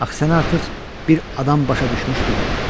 Axı səni artıq bir adam başa düşmüşdü.